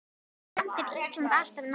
Samt er Ísland alltaf nærri.